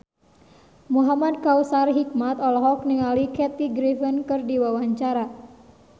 Muhamad Kautsar Hikmat olohok ningali Kathy Griffin keur diwawancara